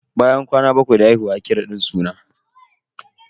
Bayan kwana bakwai da haihuwa ake raɗin suna.